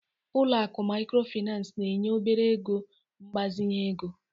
Ụlọ akụ Mikrofinas na-enye obere ego mgbazinye ego.